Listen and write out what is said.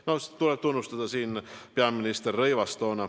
Selle eest tuleb tunnustada toonast peaministrit Rõivast.